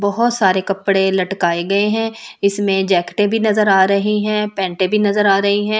बहुत सारे कपड़े लटकाए गए हैं इसमें जैकटे भी नजर आ रही हैं पेंटे भी नजर आ रही हैं।